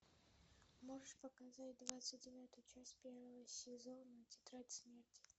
можешь показать двадцать девятую часть первого сезона тетрадь смерти